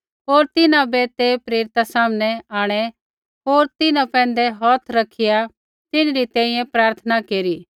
होर तिन्हां बै ते प्रेरिता सामनै आंणै होर तिन्हां पैंधै हौथ रखिआ तिन्हरी तैंईंयैं प्रार्थना केरी